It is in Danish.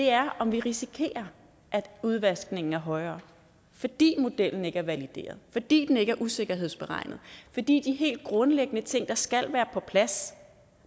er om vi risikerer at udvaskningen er højere fordi modellen ikke er valideret fordi den ikke er usikkerhedsberegnet fordi de helt grundlæggende ting der skal være på plads